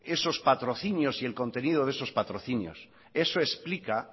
esos patrocinios y el contenido de esos patrocinios eso explica